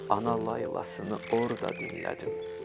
Ana laylasını orda dinlədim.